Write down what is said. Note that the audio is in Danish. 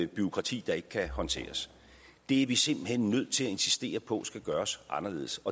bureaukrati der ikke kan håndteres det er vi simpelt hen nødt til at insistere på skal gøres anderledes